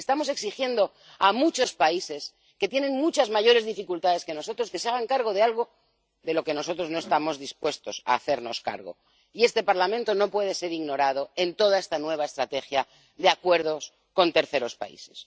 Estamos exigiendo a muchos países que tienen muchas mayores dificultades que nosotros que se hagan cargo de algo de lo que nosotros no estamos dispuestos a hacernos cargo, y este Parlamento no puede ser ignorado en toda esta nueva estrategia de acuerdos con terceros países.